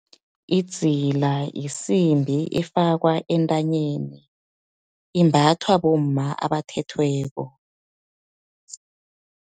Idzila, yisimbi efakwa entanyeni, imbathwa bomma abathethweko.